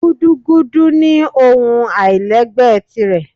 Gúdúgúdú nì ohún ailẹ́gbẹ tirẹ